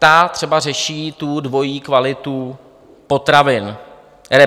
Ta třeba řeší tu dvojí kvalitu potravin...